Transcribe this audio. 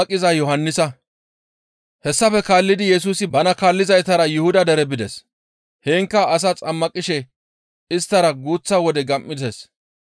Hessafe guye Yesusi bana kaallizaytara Yuhuda dere bides; heenkka asaa xammaqishe isttara guuththa wode gam7ides.